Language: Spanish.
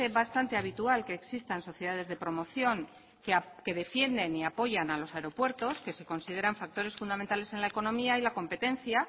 bastante habitual que existan sociedades de promoción que defienden y apoyan a los aeropuertos que se consideran factores fundamentales en la economía y la competencia